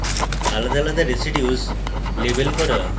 আলাদা আলাদা residues label করা